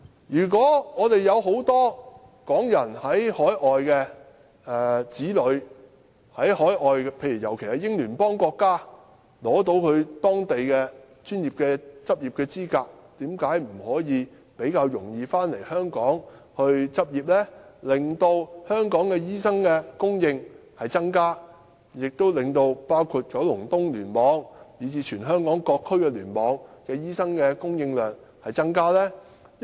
有很多港人在海外的子女，尤其是在英聯邦國家的，在取得當地的專業執業資格後，為甚麼不可以比較容易回港執業，以增加香港的醫生供應，從而令九龍東聯網，以至全香港各聯網的醫生供應量增加呢？